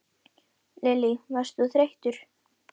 Lillý: Varst þú þreyttur?